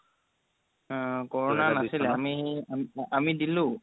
corona নাছিলে আমি আমি দিলো